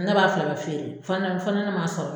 Ne b'a fila bɛɛ feere fɔ ni fɔ ni ne man sɔrɔ.